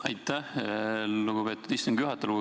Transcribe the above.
Aitäh, lugupeetud istungi juhataja!